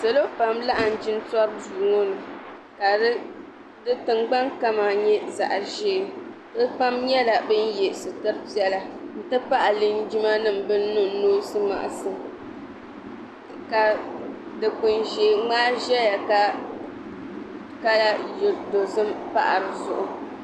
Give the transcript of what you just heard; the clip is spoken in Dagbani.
Salo pam laɣim jintori duu ŋɔ ni ka di tingbani kama nyɛ zaɣ'ʒee bɛ pam nyɛla ban ye sitiri piɛla nti pahi linjimanima ban niŋ noosi makisinima ka dukpuni ʒee ŋmaai zaya ka kala dozim pahi di zuɣu.